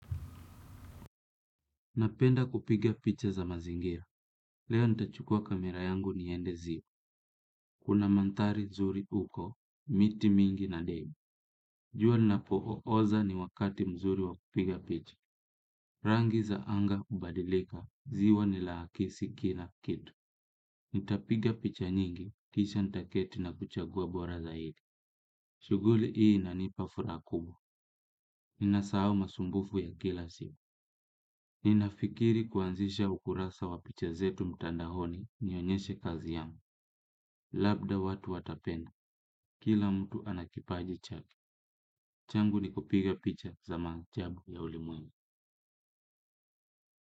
Napenda kupiga picha za mazingira, leo nitachukua kamera yangu ni ende ziwa, kuna manthari zuri uko, miti mingi na ndege. Jua linapooza ni wakati mzuri wa kupiga picha, rangi za anga hubadilika, ziwa nilakisi kina kitu. Nita piga picha nyingi, kisha nita keti na kuchagua bora zaidi. Shughuli hii inanipa furaha kubwa, ninasahau masumbufu ya kila siku. Ninafikiri kuanzisha ukurasa wa picha zetu mtandaoni nionyeshe kazi yangu, labda watu watapenda, kila mtu anakipaji chake, changu nikupiga picha za maajabu ya ulimweng.